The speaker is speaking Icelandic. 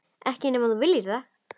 Ekki nema þú viljir það.